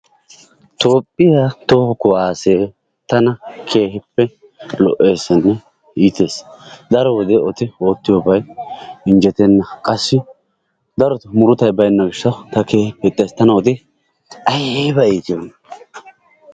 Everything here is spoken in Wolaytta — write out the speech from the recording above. Toophiyaa toho kuwassee tana keehippe lo"essinne iittessi. Daro wode eti oottiyoobay injjetena qassi daro wode murutay baynna gishshaw ta keehippe ixxays. Tana eti aybba iitiyoona!